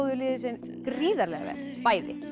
liðin sig gríðarlega vel bæði